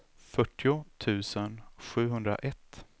fyrtio tusen sjuhundraett